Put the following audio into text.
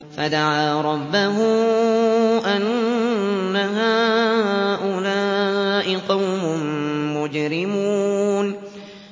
فَدَعَا رَبَّهُ أَنَّ هَٰؤُلَاءِ قَوْمٌ مُّجْرِمُونَ